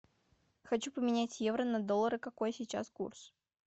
хочу поменять евро на доллары какой сейчас курс